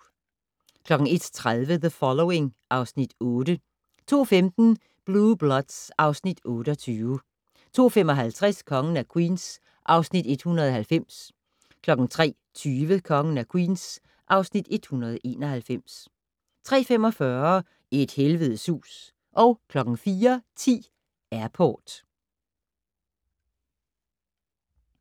01:30: The Following (Afs. 8) 02:15: Blue Bloods (Afs. 28) 02:55: Kongen af Queens (Afs. 190) 03:20: Kongen af Queens (Afs. 191) 03:45: Et helvedes hus 04:10: Airport